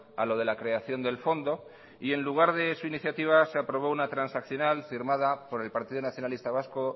a lo de la creación del fondo y en lugar de su iniciativa se aprobó una transaccional firmada por el partido nacionalista vasco